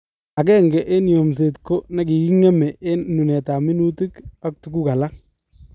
Agenge eng yomset ko nekigeme eng nunetab minutik ak tuguk alak